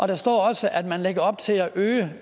der står også at man lægger op til at øge